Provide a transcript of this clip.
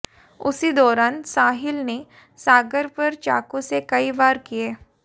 उसी दौरान साहिल ने सागर पर चाकू से कई वार किए